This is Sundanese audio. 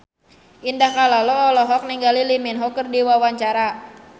Indah Kalalo olohok ningali Lee Min Ho keur diwawancara